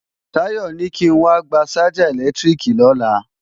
Táyọ̀ ní kí n wá gba ṣájà ẹ̀lẹ́tíríkì lọ́la